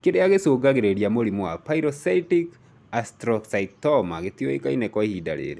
Kĩrĩa gĩcũngagĩrĩria mũrimũ wa pilocytic astrocytoma gĩtiũĩkaine kwa ihinda rĩrĩ